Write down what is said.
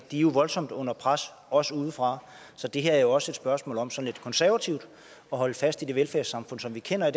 jo voldsomt under pres også udefra så det her er også et spørgsmål om sådan lidt konservativt at holde fast i det velfærdssamfund som vi kender i